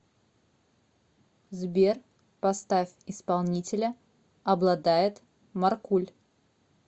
сбер поставь исполнителя обладает маркуль